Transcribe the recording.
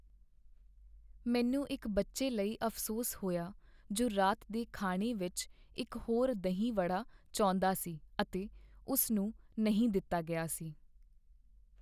ਮੈਨੂੰ ਇੱਕ ਬੱਚੇ ਲਈ ਅਫ਼ਸੋਸ ਹੋਇਆ ਜੋ ਰਾਤ ਦੇ ਖਾਣੇ ਵਿੱਚ ਇੱਕ ਹੋਰ ਦਹੀਂ ਵੜਾ ਚਾਹੁੰਦਾ ਸੀ ਅਤੇ ਉਸਨੂੰ ਨਹੀਂ ਦਿੱਤਾ ਗਿਆ ਸੀ